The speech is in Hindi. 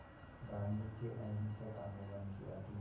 गांधी के अहिंसक आंदोलन की अपील